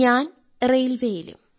ഞാൻ റെയിൽവേയിലും